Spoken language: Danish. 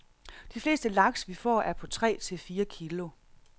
De fleste laks, vi får, er på tre til fire kilo.